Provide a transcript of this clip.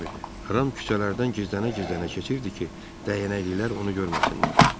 Ram küçələrdən gizlənə-gizlənə keçirdi ki, dəyənəklilər onu görməsinlər.